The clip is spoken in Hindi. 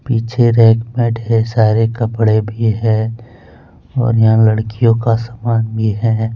पीछे रैक पे ढेर सारे कपड़े भी है। और यहां लड़कियों का सामान भी है।